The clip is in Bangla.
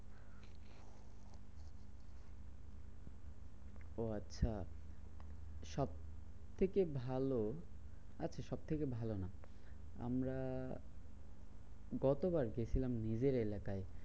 ও আচ্ছা, সবথেকে ভালো আচ্ছা সবথেকে ভালো না আমরা গতবার গেছিলাম নিজের এলাকায়